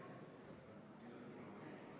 Eelnõu teksti kahe lugemise vahel keeletoimetati.